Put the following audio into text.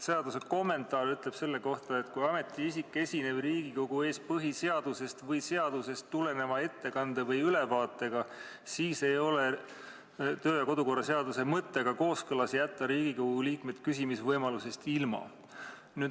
Seaduse kommentaar ütleb selle kohta järgmist: "Kui ametiisik esineb Riigikogu ees põhiseadusest või seadusest tuleneva ettekande või ülevaatega, siis ei ole kodu- ja töökorra seaduse mõttega kooskõlas jätta Riigikogu liikmed küsimisvõimalusest ilma.